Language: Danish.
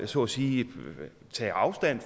så at sige vil tage afstand